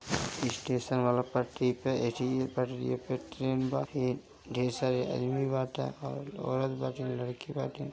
Station वाला पटरी पे एक ही पटरिए पे एक ट्रेन बा। एक ढेर सारे आदमी बाटे और औरत बाटे लड़की बाटी।